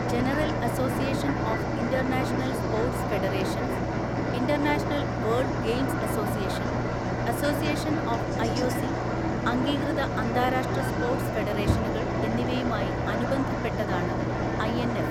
General association of international sports federations, international world games association, association of IOC അംഗീകൃത അന്താരാഷ്ട്ര sports ഫെഡറേഷനുകൾ എന്നിവയുമായി അനുബന്ധപ്പെട്ടതാണ് ഐഎൻഎഫ്.